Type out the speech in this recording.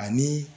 Ani